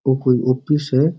और कोई ऑफिस है।